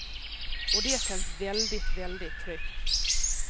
Och det känns väldigt, väldigt tryggt.